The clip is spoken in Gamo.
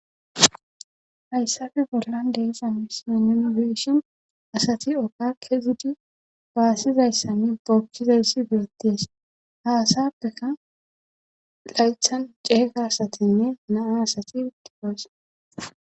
Hayssafe bollan deesa misninibeshon asati ooka kezudi baasizayssami bookchizayssi beetties haasappeka laythan ceega asatinne naa asati tifosa.